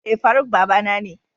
Eh Faruk babana ne.